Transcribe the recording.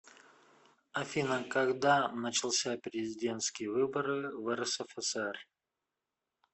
афина когда начался президентские выборы в рсфср